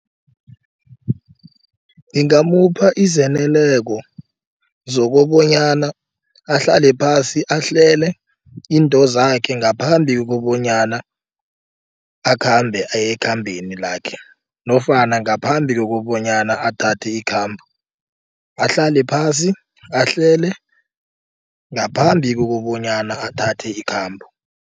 Ngingamupha zokobonyana ahlale phasi ahlele intozakhe ngaphambi kobonyana akhambe ayekhambeni lakhe nofana ngaphambi kokobonyana athathe ikhambo ahlale phasi ahlele ngaphambi kokobonyana athathe ikhambo.